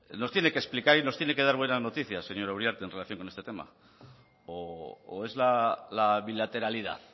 nos tiene que explicar y nos tiene que dar buenas noticias señora uriarte en relación con este tema o es la bilateralidad